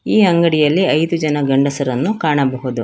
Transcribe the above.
ಈ ಅಂಗಡಿಯಲ್ಲಿ ಐದು ಜನ ಗಂಡಸರನ್ನು ಕಾಣಬಹುದು.